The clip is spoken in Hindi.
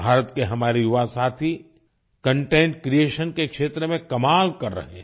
भारत के हमारे युवासाथी कंटेंट क्रिएशन के क्षेत्र में कमाल कर रहे है